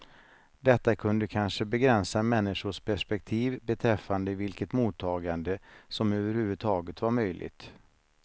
Detta kunde kanske begränsa människors perspektiv beträffande vilket mottagande som överhuvudtaget var möjligt.